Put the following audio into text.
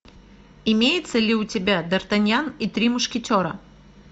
имеется ли у тебя дартаньян и три мушкетера